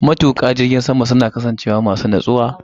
Matuƙa jirgin sama suna kasancewa masu natsuwa a yayin da suke baƙin aiki.